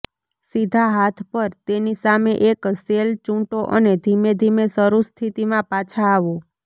સીધા હાથ પર તેની સામે એક શેલ ચૂંટો અને ધીમે ધીમે શરૂ સ્થિતિમાં પાછા આવો